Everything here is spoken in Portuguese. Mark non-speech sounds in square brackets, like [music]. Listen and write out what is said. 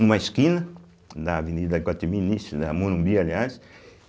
Numa esquina, da Avenida, [unintelligible] da Morumbi, aliás.